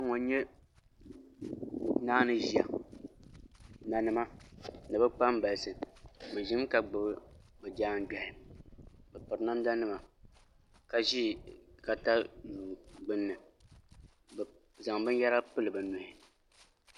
Kpɛ n nyɛ nanima ni bi kpambalisi bi ʒimi ka gbubi bi jaangbiɣi bi piri namda nima ka ʒi katayuu gbunni bi zaŋ binyɛra pili bi nuhi